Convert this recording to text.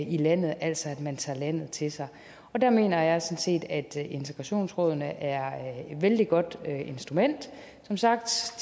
i landet altså at man tager landet til sig og der mener jeg sådan set at integrationsrådene er et vældig godt instrument som sagt